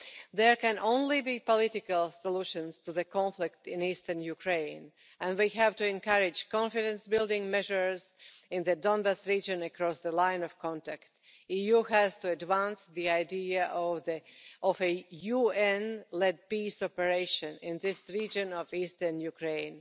There can only be political solutions to the conflict in eastern Ukraine and we have to encourage confidence building measures in the Donbas region across the Line of Contact. The EU has to advance the idea of a UN led peace operation in this region of eastern Ukraine.